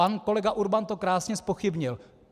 Pan kolega Urban to krásně zpochybnil.